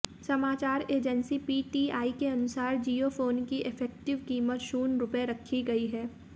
समाचार agency PTI के अनुसार जियो फ़ोन की इफेक्टिव कीमत शून्य रुपये रखी गई है